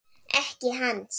Ekki hans.